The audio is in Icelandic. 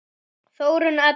Þórunn Edda.